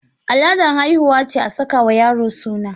Al'adar haihuwa ce a sakawa yaro suna.